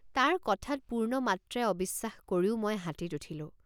তাৰ কথাত পূৰ্ণমাত্ৰাই অবিশ্বাস কৰিও মই হাতীত উঠিলোঁ।